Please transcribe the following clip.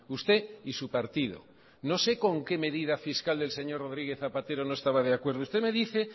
usted y su partido no sé con qué medida fiscal del señor rodríguez zapatero no estaba de acuerdo usted me dice